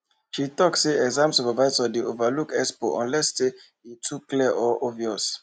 she talk say exam supervisors dey overlook expo unless e too clear or obvious